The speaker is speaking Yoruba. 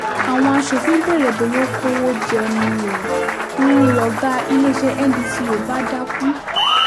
àwọn aṣòfin béèrè bóyá ó kówó jẹ ni ó ń lọ̀gá iléeṣẹ́ ndco bá dákú